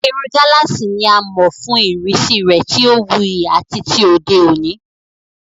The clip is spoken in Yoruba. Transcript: Irun gálààsì ni a mọ̀ fún ìrísí rẹ̀ tí ó wuyì àti ti òde òní.